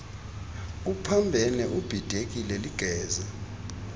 uphambene ubhidekile ligeza